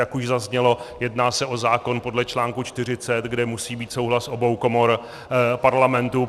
Jak už zaznělo, jedná se o zákon podle čl. 40, kde musí být souhlas obou komor Parlamentu.